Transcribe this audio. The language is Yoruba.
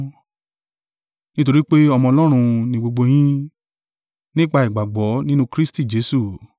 Nítorí pé ọmọ Ọlọ́run ni gbogbo yín, nípa ìgbàgbọ́ nínú Kristi Jesu.